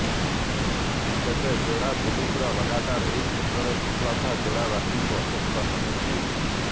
ତେବେ ଯୋଡା ପୁଲିସର ଲଗାତାର ଏହି କ୍ଷେତ୍ରରେ ସଫଳତା ଯୋଡା ବାସୀଙ୍କୁ ଆଶ୍ୱସ୍ଥ କରିଛି